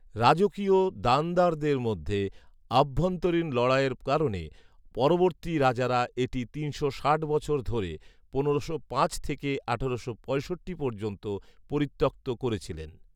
রাজকীয় দানদারদের মধ্যে আভ্যন্তরীণ লড়াইয়ের কারণে পরবর্তী রাজারা এটি তিনশো ষাট বছর ধরে পনেরোশো পাঁচ থেকে আঠারোশো পঁয়ষট্টি পর্যন্ত পরিত্যক্ত করেছিলেন